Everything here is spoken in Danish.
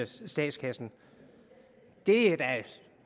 statskassen det er da